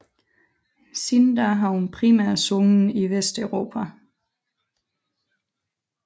Siden da har hun primært sunget i Vesteuropa